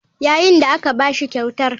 Yayin da aka ba shi kyautar.